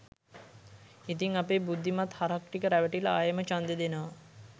ඉතිං අපේ බුද්ධිමත් හරක් ටික රැවටිලා ආයෙම ඡන්දෙ දෙනව